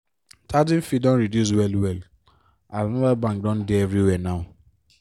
charging fee don reduce well-well as mobile bank don dey everywhere now.